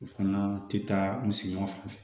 U fana tɛ taa misigɛnw fɛ